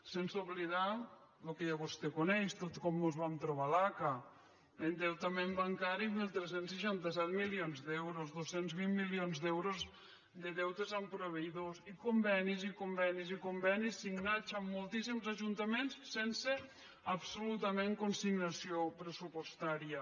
sense oblidar el que ja vostè coneix tot com mos van trobar l’aca endeutament bancari tretze seixanta set milions d’euros dos cents i vint milions d’euros de deutes amb proveïdors i convenis i convenis i convenis signats amb moltíssims ajuntaments sense absolutament consignació pressupostària